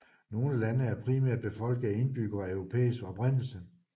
Nogle lande er primært befolket af indbyggere af europæisk oprindelse